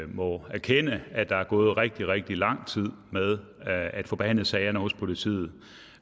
må erkende at der er gået rigtig rigtig lang tid med at få behandlet sagerne hos politiet